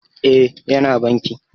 E, Yana banki